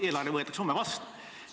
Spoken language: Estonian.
Eelarve võetakse homme vastu.